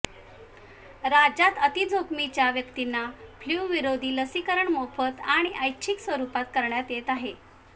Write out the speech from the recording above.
राज्यात अतिजोखमीच्या व्यक्तींना फ्ल्यू विरोधी लसीकरण मोफत आणि ऐच्छिक स्वरुपात करण्यात येत आहे